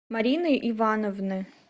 марины ивановны